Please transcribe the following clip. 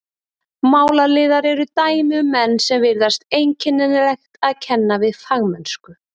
Málaliðar eru dæmi um menn sem virðist einkennilegt að kenna við fagmennsku.